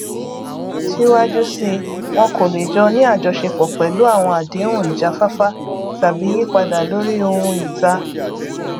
síwájú síi wọn kò lè jọ ní àjọṣepọ pẹlú àwọn àdéhùn ìjáfáfá tàbí yípadà lórí ohun ìta